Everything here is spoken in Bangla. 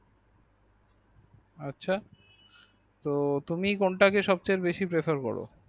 আচ্ছা তো তুমি কোনটাকে সবচেয়ে বেশি perfect বলো ।